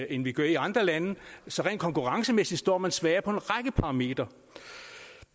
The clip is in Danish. end de gør i andre lande så rent konkurrencemæssigt står man svagere på en række parametre